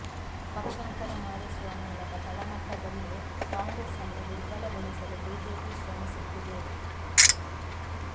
ಪಕ್ಷಾಂತರ ಮಾಡಿಸುವ ಮೂಲಕ ತಳಮಟ್ಟದಲ್ಲೇ ಕಾಂಗ್ರೆಸ್ ಅನ್ನು ದುರ್ಬಲಗೊಳಿಸಲು ಬಿಜೆಪಿ ಶ್ರಮಿಸುತ್ತಿದೆ